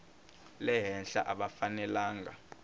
le henhla a va fanelanga